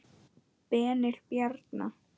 Benni Bjarna.